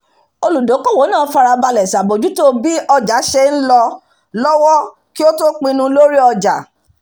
olùdókòwò náà farabalẹ̀ ṣàbójútó bí ọjà ṣe ń lọ lọ́wọ́ kí ó tó pinnu lórí owó ọjà